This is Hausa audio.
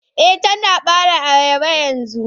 Eh Tana bare ayaba yanzu.